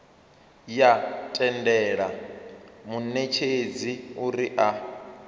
ya tendela munetshedzi uri a